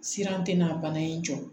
Siran tɛ n'a bana in jɔ